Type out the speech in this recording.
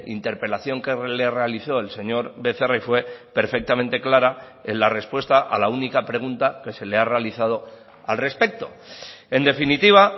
interpelación que le realizó el señor becerra y fue perfectamente clara en la respuesta a la única pregunta que se le ha realizado al respecto en definitiva